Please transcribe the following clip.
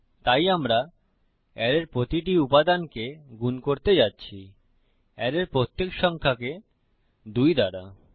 তাই আমরা অ্যারের প্রতিটি উপাদানকে গুন করতে যাচ্ছি অ্যারের প্রত্যেক সংখ্যাকে 2 দ্বারা